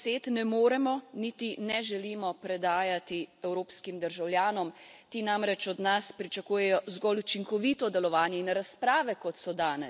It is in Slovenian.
Vaših praznih besed ne moremo, niti ne želimo predajati evropskim državljanom ti namreč od nas pričakujejo zgolj učinkovito delovanje.